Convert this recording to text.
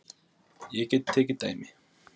Ég get tekið dæmi.